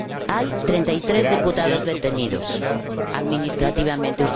Hay treinta y tres diputados detenidos administrativamente.